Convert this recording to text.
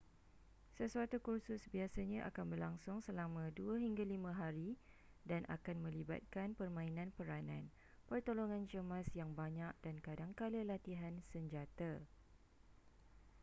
sesuatu kursus biasanya akan berlangsung selama 2-5 hari dan akan melibatkan permainan peranan pertolongan cemas yang banyak dan kadangkala latihan senjata